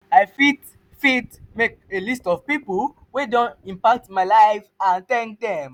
i fit fit make a list of pipo wey don impact my life and thank dem.